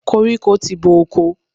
Koríko ti bo oko.